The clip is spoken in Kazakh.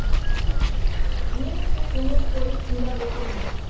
мен өте көңіл қойып тыңдап отырмын